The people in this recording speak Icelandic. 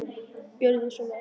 Gjörið svo vel!